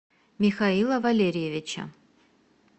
михаила валериевича